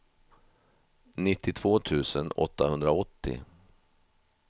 nittiotvå tusen åttahundraåttio